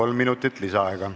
Kolm minutit lisaaega.